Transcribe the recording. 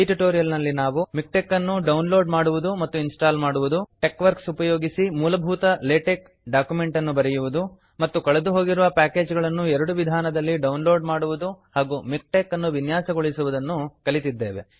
ಈ ಟ್ಯುಟೋರಿಯಲ್ ನಲ್ಲಿ ನಾವು ಮಿಕ್ಟೆಕ್ ಅನ್ನು ಡೌನ್ ಲೋಡ್ ಮಾಡುವುದು ಮತ್ತು ಇನ್ಸ್ಟಾಲ್ ಮಾಡುವುದು ಟೆಕ್ವರ್ಕ್ಸ್ ಉಪಯೋಗಿಸಿ ಮೂಲಭೂತ ಲೇಟೆಕ್ ಡಾಕ್ಯುಮೆಂಟ್ ಅನ್ನು ಬರೆಯುವುದು ಮತ್ತು ಕಳೆದುಹೋಗಿರುವ ಪ್ಯಾಕೇಜ್ ಗಳನ್ನು ಎರಡು ವಿಧಾನದಲ್ಲಿ ಡೌನ್ ಲೋಡ್ ಮಾಡುವುದು ಹಾಗು ಮಿಕ್ಟೆಕ್ ಅನ್ನು ವಿನ್ಯಾಸಗೊಳಿಸುವುದನ್ನು ಕಲಿತಿದ್ದೇವೆ